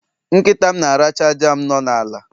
Nkita m na-aracha jam no n'ala